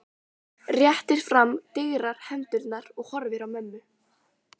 Réttir fram digrar hendurnar og horfir á mömmu.